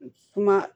Kuma